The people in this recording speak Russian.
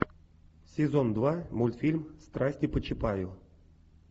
сезон два мультфильм страсти по чапаю